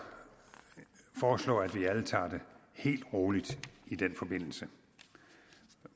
foreslå at vi alle tager det helt roligt i den forbindelse